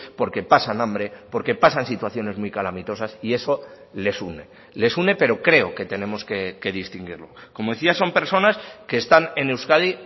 porque pasan hambre porque pasan situaciones muy calamitosas y eso les une les une pero creo que tenemos que distinguirlo como decía son personas que están en euskadi